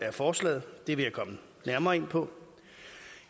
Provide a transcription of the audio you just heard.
af forslaget det vil jeg komme nærmere ind på